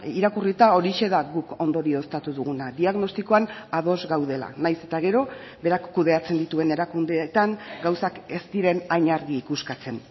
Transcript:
irakurrita horixe da guk ondorioztatu duguna diagnostikoan ados gaudela nahiz eta gero berak kudeatzen dituen erakundeetan gauzak ez diren hain argi ikuskatzen